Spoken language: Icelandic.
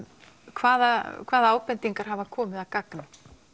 hvaða hvaða ábendingar hafa komið að gagni